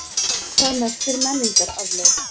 Hvað merkir menningararfleifð?